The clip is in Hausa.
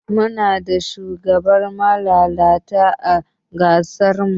Muna da shugabani malalata ã kasar mu.